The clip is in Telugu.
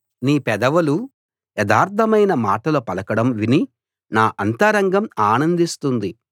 నీ పెదవులు యథార్థమైన మాటలు పలకడం విని నా అంతరంగం ఆనందిస్తుంది